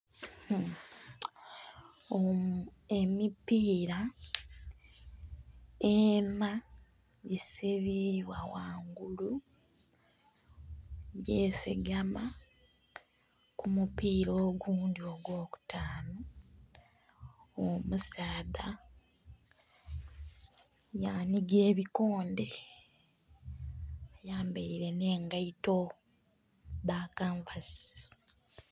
Emipira enha gisibibwa ghangulu gyesigama kumupira ogundhi ogwo kutaanu. Omusaadha nga anhiga ebikondhe ayambaire n'engaito dha kanvasi.